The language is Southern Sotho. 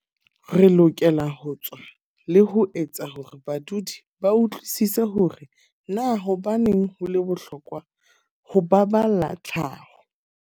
Re lokela ho tswa le ho etsa hore badudi ba utlwisise hore na hobaneng ho le bohlokwa ho ba balla tlhaho.